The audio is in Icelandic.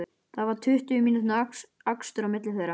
Það var tuttugu mínútna akstur á milli þeirra.